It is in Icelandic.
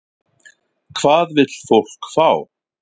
Hvað vill fólk fá?